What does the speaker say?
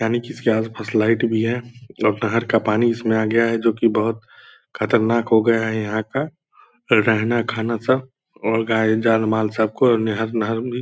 यानि किसकी फस लाइट भी है और नहर का पानी इसमे आ गया है जो की बहुत खतरनाक हो गया है यहाँ का रहना खाना सब और गाय जान माल सब को निहर नहर भी।